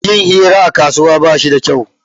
Yin hira a kasuwa ba shi kyau